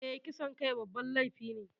Eh, kisan kai babban laifi ne